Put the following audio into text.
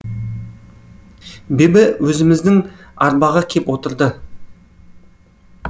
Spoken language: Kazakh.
бибі өзіміздің арбаға кеп отырды